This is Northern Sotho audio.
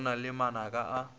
go na le manaka a